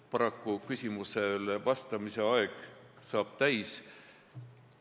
Paraku küsimusele vastamise aeg saab täis.